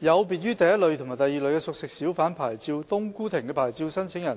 有別於第一類及第二類的熟食小販牌照，"冬菇亭"的牌照申請人